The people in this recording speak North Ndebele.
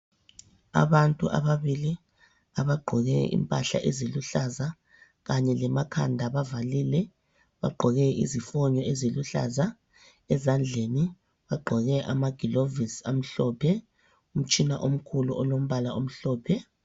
Abantu ababili abagqoke impahla eziluhlaza kanye lemakhanda bavalile bagqoke izifonyo eziluhlaza ezandleni bagqoke amagilovisi amhlophe umtshina omkhulu olombala omhlophe.